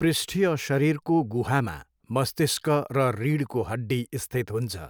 पृष्ठीय शरीरको गुहामा मस्तिष्क र रीढको हड्डी स्थित हुन्छ।